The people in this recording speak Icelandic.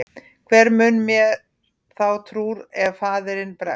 Hver mun mér þá trúr ef faðirinn bregst?